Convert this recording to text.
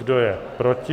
Kdo je proti?